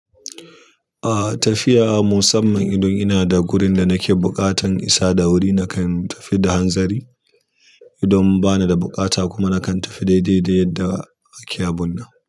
Ah tafiya musamman idan ina da gurin da nake buƙatan isa da wuri nakan tafi da hanzari. Idan bana da buƙata kuma nakan tafi daidai da yadda ake abun nan.